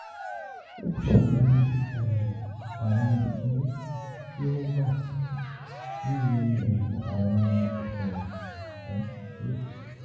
o ṣe awọn sisanwo ti o wa titi bi awọn oṣuwọn um dide.